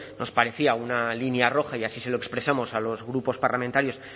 nos parecía una línea roja y así se lo expresamos a los grupos parlamentarios